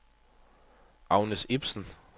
Agnes Ibsen